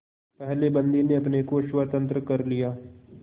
पहले बंदी ने अपने को स्वतंत्र कर लिया